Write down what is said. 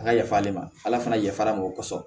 A ka yafa ale ma ala fana yafara mɔgɔ sɔrɔ